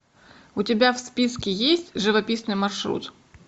у тебя в списке есть живописный маршрут